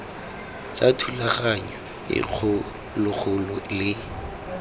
tsa thulaganyo e kgologolo le